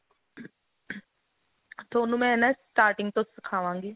ਤੁਹਾਨੂੰ ਮੈਂ ਨਾ starting ਤੋਂ ਸਿਖਾਵਾਂਗੀ